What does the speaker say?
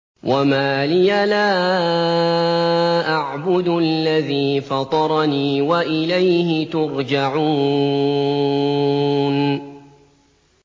وَمَا لِيَ لَا أَعْبُدُ الَّذِي فَطَرَنِي وَإِلَيْهِ تُرْجَعُونَ